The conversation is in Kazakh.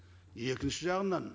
екінші жағынан